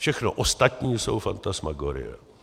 Všechno ostatní jsou fantasmagorie.